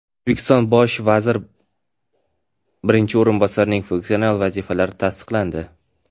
O‘zbekiston bosh vazir birinchi o‘rinbosarining funksional vazifalari tasdiqlandi.